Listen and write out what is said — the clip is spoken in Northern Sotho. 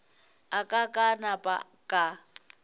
a ka ka napa ka